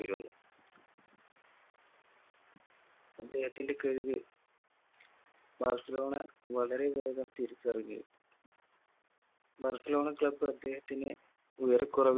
യിരുന്നു. അദ്ദേഹത്തിൻറെ കഴിവ് ബാഴ്‌സലോണ വളരെ വേഗം തിരിച്ചറിഞ് ബാഴ്‌സലോണ club അദ്ധേഹത്തിന് ഉയരക്കുറവിന്